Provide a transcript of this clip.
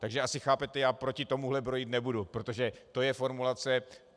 Takže asi chápete, já proti tomu brojit nebudu, protože to je formulace.